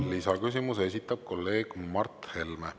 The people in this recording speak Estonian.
Lisaküsimuse esitab kolleeg Mart Helme.